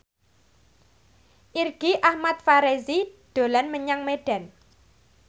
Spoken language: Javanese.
Irgi Ahmad Fahrezi dolan menyang Medan